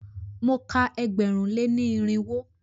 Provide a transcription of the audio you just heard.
Mo ka ẹgbẹ̀rún lé ní irinwó.